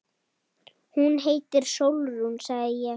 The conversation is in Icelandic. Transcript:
Hún heitir Sólrún, sagði ég.